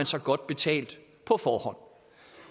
sig godt betalt på forhånd